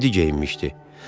Ciddi geyinmişdi.